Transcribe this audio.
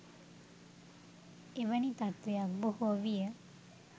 එවැනි තත්ත්වයක් බොහෝ විය